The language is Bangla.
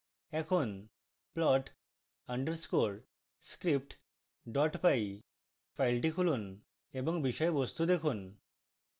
এখন plot underscore script py file খুলুন এবং বিষয়বস্তু দেখুন